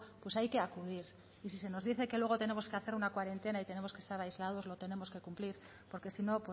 pues hay que acudir y si se nos dice que luego tenemos que hacer una cuarentena y tenemos que estar aislados lo tenemos que cumplir porque si no